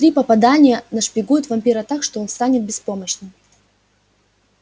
три попадания нашпигуют вампира так что он станет беспомощным